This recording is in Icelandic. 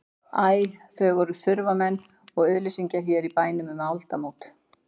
Æ, þau voru þurfamenn og auðnuleysingjar hér í bænum um aldamót.